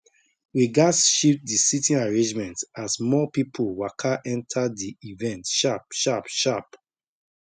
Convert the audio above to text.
we gats shift the sitting arrangement as more people waka enter the event sharp sharp sharp